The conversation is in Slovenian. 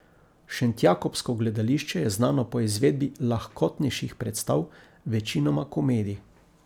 Šentjakobsko gledališče je znano po izvedbi lahkotnejših predstav, večinoma komedij.